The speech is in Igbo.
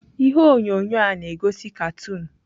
Ihe onyonyo a na-egosi katoon.